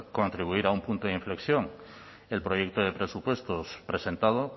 contribuir a un punto de inflexión en el proyecto de presupuestos presentado